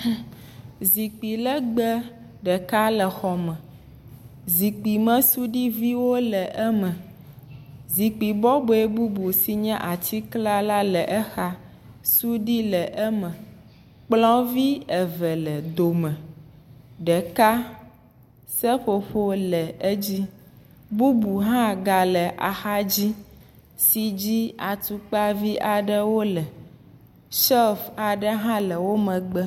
Hummm ; Zikpui legbẽ ɖeka le xɔ me. Zikpuimesudiviwo le eme. Zikpui bɔbɔ bɔe bubu si nye atikla le exa. Sudui le eme, kplɔvi eve le dome. ɖeka seƒoƒo le edzi, bubu hã ga le exa dzi si dzi atukpavi aɖewo wole. Shilfu aɖe hã aɖewo hã wò megbe.